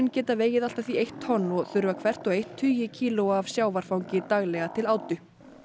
geta vegið allt að því eitt tonn og þurfa hvert og eitt tugi kílóa af sjávarfangi daglega til átu